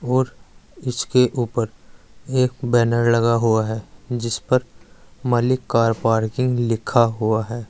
और इसके ऊपर एक बैनर लगा हुआ है जिस पर मलिक कार पार्किंग लिखा हुआ है।